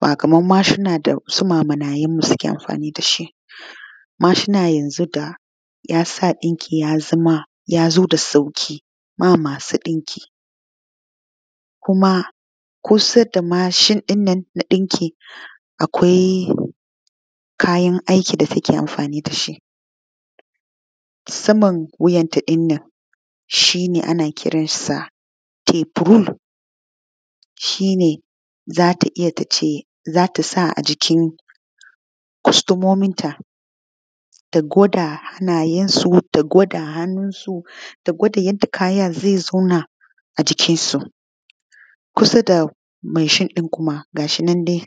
ba kaman mashina dasu mamanayenmu suke anfani da shi ba mashina da yasa ɗinki yazama dudda sauƙi ma masu ɗinkin kuma kusa da mashinɗin nan na ɗinki akwai kayan aiki da take anfani da shi. Saman wiyanta ɗin nan shi ne ana kiransa tape rule shine zata iya tace tasa a jikin kustomominta ta gwada hannayensu ta gwada yanda kaya zai zauna a jikinsu kusa da mashin ɗin kuma da akwatinandai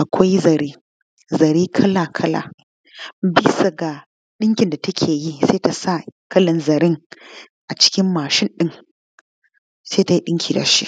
akwai zare zare kala kala bisa ga ɗinkin da takeyi tsa kalan zaren a jikin mashinɗin se tai ɗinki da shi.